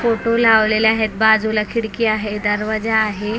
Photo लावलेल्या आहेत बाजूला खिडकी आहे दरवाजा आहे.